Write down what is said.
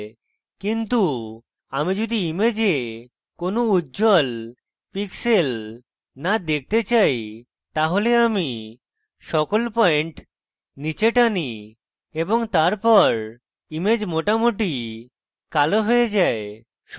কিন্তু আমি যদি image কোনো উজ্জ্বল pixels না দেখতে চাই তাহলে আমি সকল পয়েন্ট নীচে টানি এবং তারপর image মোটামুটি কালো হয়ে যায়